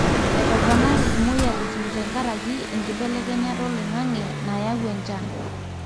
etoponari imoyiaritin tenkaraki enkibelekenyata oloingange nayaau enchan